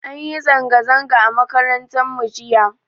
An yi zanga zanga a makaranta mu jiya